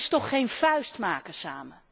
Dat is toch geen vuist maken samen!